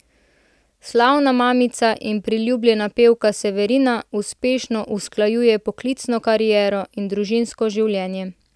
Slavna mamica in priljubljena pevka Severina uspešno usklajuje poklicno kariero in družinsko življenje.